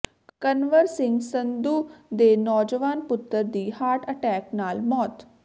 ਕੰਵਰ ਸਿੰਘ ਸੰਧੂ ਦੇ ਨੌਜਵਾਨ ਪੁੱਤਰ ਦੀ ਹਾਰਟ ਅਟੈਕ ਨਾਲ ਮੌਤ